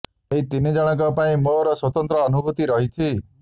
ଏହି ତିନି ଜଣଙ୍କ ପାଇଁ ମୋର ସ୍ୱତନ୍ତ୍ର ଅନୁଭୁତି ରହିଛି